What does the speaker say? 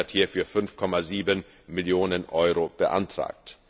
Österreich hat hierfür 5,7 Millionen Euro beantragt.